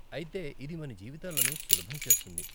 అయితే, ఇది మన జీవితాలను సులభం చేస్తుంది .